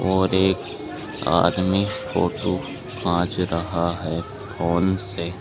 और एक आदमी फोटो खांच रहा है फोन से।